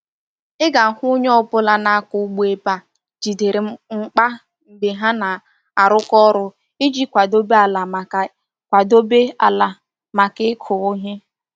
Ị ga-ahụ onye ọ bụla na-akọ ugbo ebe a jidere mgba mgbe ha na-arụkọ ọrụ iji kwadebe ala maka kwadebe ala maka ịkụ ihe.